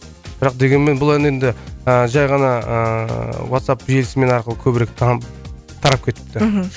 бірақ дегенмен бұл ән енді ыыы жай ғана ыыы ватсап желісімен арқылы көбірек танып тарап кетіпті мхм